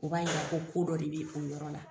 U b'a yira ko kodɔ de bɛ o yɔrɔ la.